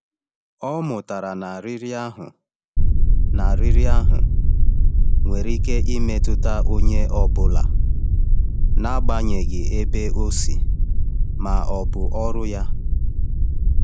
Ọ mụtara na riri ahụ na riri ahụ nwere ike imetụta onye ọ bụla n’agbanyeghị ebe o si ma ọ bụ ọrụ ya.